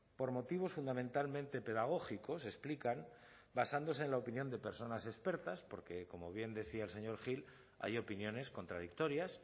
por motivos fundamentalmente pedagógicos explican basándose en la opinión de personas expertas porque como bien decía el señor gil hay opiniones contradictorias